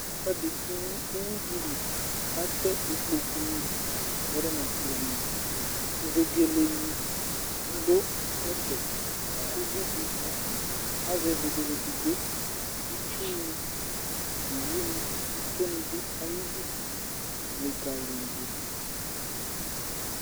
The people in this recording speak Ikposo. Ɛfuɛdi k'uwi di lì k'atɛ ikpoku ni kpɔdu n'ɛkplo ni, vegele ni du ɛfɛ, uvi di azɛ vegele edigbo, itsu ni, owu ni, itó ni dù ayi idú likaliyidù